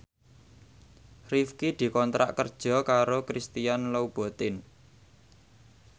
Rifqi dikontrak kerja karo Christian Louboutin